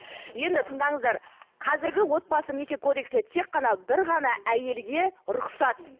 енді тыңдаңыздар қазіргі отбасы неке кодексінде тек қана бір ғана әйелге рұқсат